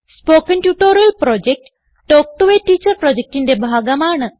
spoken tutorial project talk to a teacher പ്രൊജക്റ്റിന്റെ ഭാഗമാണ്